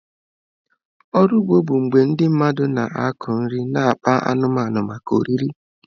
Ọrụ ugbo bụ mgbe ndị mmadụ na-akụ nri na akpa anụmanụ maka oriri.